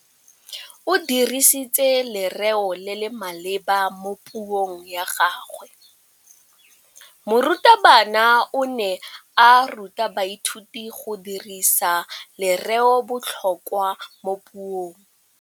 O dirisitse lerêo le le maleba mo puông ya gagwe. Morutabana o ne a ruta baithuti go dirisa lêrêôbotlhôkwa mo puong.